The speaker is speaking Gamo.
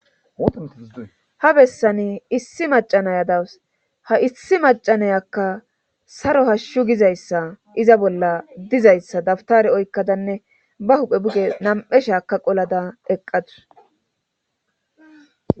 ha bessani issi macanaya dawus ha issi macanayakka saro hashshu gizayssa iza bolla dizayssa dabtare oykkadanne ba huphe buge nam'eshaka qolada eqqadus